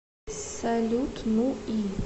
салют ну и